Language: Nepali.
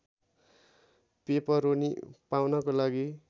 पेपरोनी पाउनको लागि